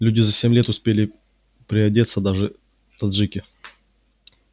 люди за семь лет успели приодеться даже таджики